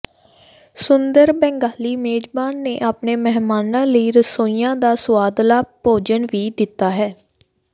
ਸੁੰਦਰ ਬੰਗਾਲੀ ਮੇਜਬਾਨ ਨੇ ਆਪਣੇ ਮਹਿਮਾਨਾਂ ਲਈ ਰਸੋਈਆਂ ਦਾ ਸੁਆਦਲਾ ਭੋਜਨ ਵੀ ਦਿੱਤਾ ਹੈ